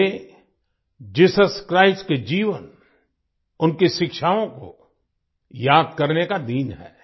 ये Jesus Christ के जीवन उनकी शिक्षाओं को याद करने का दिन है